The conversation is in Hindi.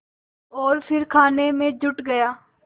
और फिर खाने में जुट गया